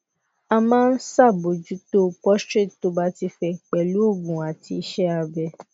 a ma n sabojuto prostate to ba ti fe pelu oogun ati ise abe